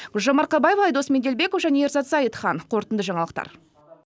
гүлжан марқабаева айдос меделбеков және ерзат зайытхан қорытынды жаңалықтар